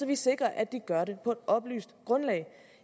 vi sikrer at de gør det på et oplyst grundlag